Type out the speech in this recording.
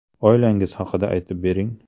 Oilangiz haqida aytib bering?